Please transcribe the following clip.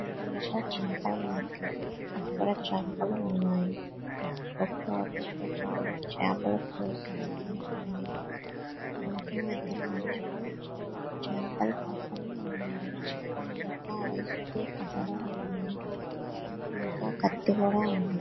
ఇదంతా చేపల మార్కెట్ .ఇక్కడ చేపలు ఉన్నాయి. ఒక ఆవి ఒక ఆవిడ చాపల కోస్తూ అమ్ముతుంది.ఇంకా ఇద్దరు మనుషులు చేపలు పక్కన ఉన్నారు. ఇంకా ఐస్ క్యూబ్స్ కూడా ఉన్నాయి.ఇంకా కత్తి కూడా ఉంది.